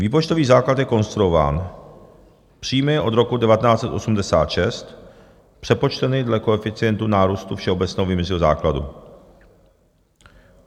"Výpočtový základ je konstruován: příjmy od roku 1986 přepočteny dle koeficientu nárůstu všeobecného vyměřovacího základu.